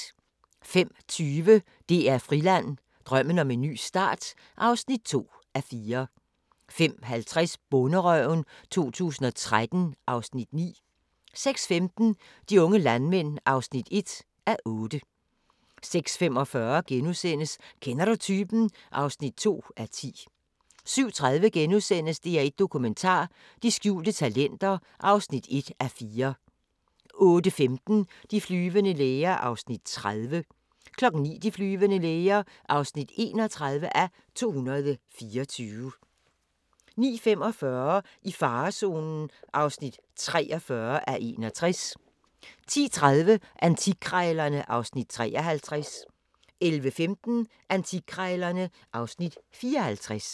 05:20: DR Friland: Drømmen om en ny start (2:4) 05:50: Bonderøven 2013 (Afs. 9) 06:15: De unge landmænd (1:8) 06:45: Kender du typen? (2:10)* 07:30: DR1 Dokumentar: De skjulte talenter (1:4)* 08:15: De flyvende læger (30:224) 09:00: De flyvende læger (31:224) 09:45: I farezonen (43:61) 10:30: Antikkrejlerne (Afs. 53) 11:15: Antikkrejlerne (Afs. 54)